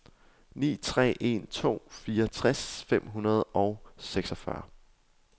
ni tre en to fireogtres fem hundrede og seksogfyrre